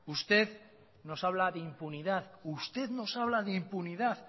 usted nos habla de impunidad usted no habla de impunidad